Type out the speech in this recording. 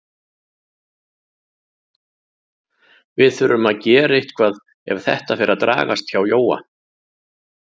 Við þurfum að gera eitthvað ef þetta fer að dragast hjá Jóa.